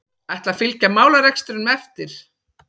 Ætla að fylgja málarekstrinum eftir